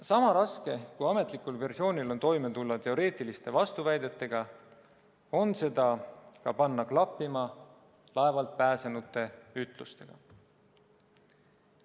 Sama raske, kui ametlikul versioonil on toime tulla teoreetiliste vastuväidetega, on ka panna seda klappima laevalt pääsenute ütlustega.